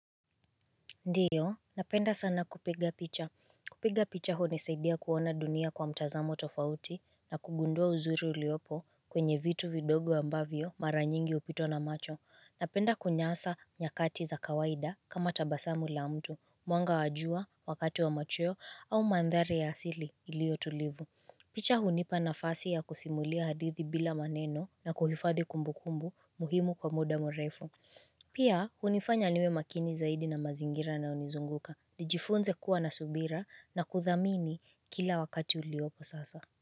Ndiyo, napenda sana kupiga picha. Kupiga picha hunisaidia kuona dunia kwa mtazamo tofauti na kugundua uzuru uliopo kwenye vitu vidogo ambavyo mara nyingi upitwa na macho. Napenda kunyasa nyakati za kawaida kama tabasamu la mtu, mwanga wajua, wakati wa machoyo au mandhari ya asili ilio tulivu. Picha hu nipa na fasi ya kusimulia hadithi bila maneno na kuhifadhi kumbu kumbu muhimu kwa muda mrefu. Pia, unifanya niwe makini zaidi na mazingira yanayonizunguka, nijifunze kuwa na subira na kuthamini kila wakati uliopo sasa.